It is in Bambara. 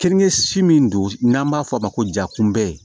Keninke si min don n'an b'a fɔ a ma ko ja kunbɛ